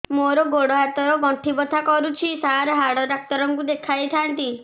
ମୋର ଗୋଡ ହାତ ର ଗଣ୍ଠି ବଥା କରୁଛି ସାର ହାଡ଼ ଡାକ୍ତର ଙ୍କୁ ଦେଖାଇ ଥାନ୍ତି